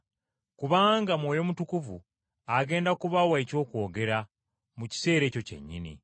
kubanga Mwoyo Mutukuvu agenda kubawa eky’okwogera mu kiseera ekyo kyennyini.”